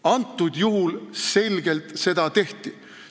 Antud juhul seda selgelt tehti.